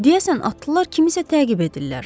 Deyəsən atlılar kimisə təqib edirlər.